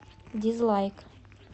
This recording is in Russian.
дизлайк